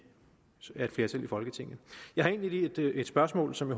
folketinget jeg har egentlig lige et spørgsmål som